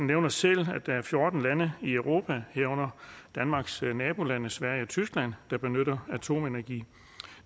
nævner selv at der er fjorten lande i europa herunder danmarks nabolande sverige og tyskland der benytter atomenergi